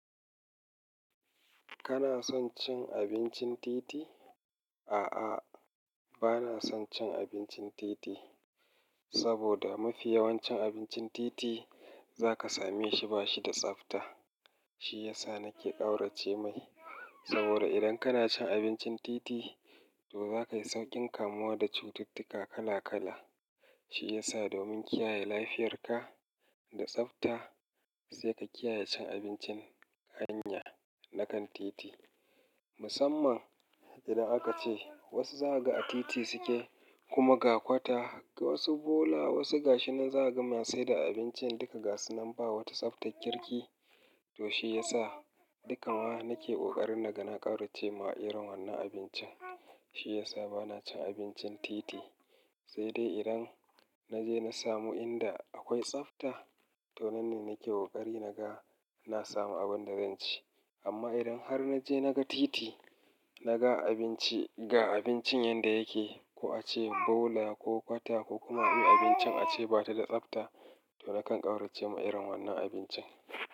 Kana son cin abincin titi? A'a, bana son cin abincin titi, saboda mafi yawancin abincin titi za ka same shi ba shi da tsafta. Shi ya sa na ke ƙaurace mai, saboda idan kana cin abincin titi, to za ka yi sauƙin kamuwa da cututtuka kala kala. Shi ya sa domin kiyaye lafiyarka da tsafta, sai ka kiyaye cin abincin hanya na kan titi. Musamman idan aka ce wasu zaga a titi suke, kuma ga kwata, ga wasu bola, wasu gashinan zaga masu saida abincin, duka gasunan ba wata tsaftar kirki. To shi ya sa dukan wa na ke ƙoƙarin na ga na ƙaurace ma irin wannan abincin. Shi ya sa bana cin abincin titi. Sai dai idan na je na samu inda akwai tsafta, to nan ne na ke ƙoƙari na ga na samu abin da zan ci. Amma idan har na je na ga titi, na ga abinci, ga abincin yanda yake, ko a ce bola ko kwata ko kuma wani abincin a ce ba ta da tsabta, to na kan ƙaurace ma irin wannan abincin.